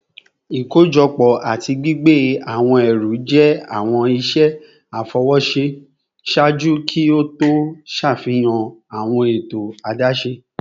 Ikojọpọ ati gbigbe awọn ẹru jẹ awọn iṣẹ afọwọṣe ṣaaju ki o to ṣafihan awọn eto adaṣe